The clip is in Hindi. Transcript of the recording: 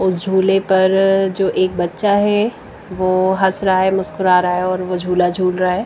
उस झूले पर जो एक बच्चा है वो हंस रहा है मुस्कुरा रहा है और झूला झूल रहा है।